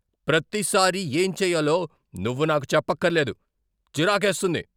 ప్రతిసారీ ఏం చేయాలో నువ్వు నాకు చెప్పక్కర్లేదు. చిరాకేస్తుంది.